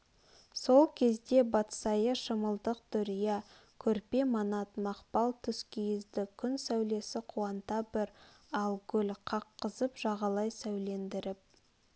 сол кезде батсайы шымылдық дүрия көрпе манат мақпал тұскиізді күн сәулесі қуанта бір ал гүл қаққызып жағалай сәулелендіріп